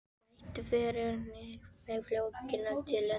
Þeir breyttu fyrir mig flugmiðanum til London.